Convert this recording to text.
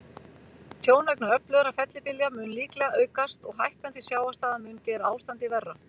Tjón vegna öflugra fellibylja mun líklega aukast, og hækkandi sjávarstaða mun gera ástandið verra.